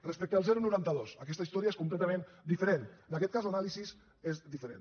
respecte al noranta dos aquesta historia és completament diferent en aquest cas l’anàlisi és diferent